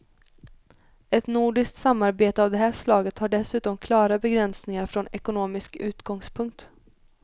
Ett nordiskt samarbete av det här slaget har dessutom klara begränsningar från ekonomisk utgångspunkt.